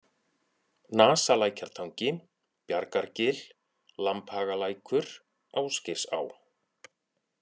Nasalækjartangi, Bjargargil, Lambhagalækur, Ásgeirsá